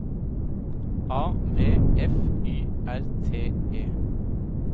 A V F Y R T E